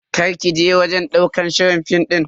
Karki je wajen ɗaukar shirin film din.